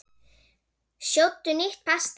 Sjóddu nýtt pasta.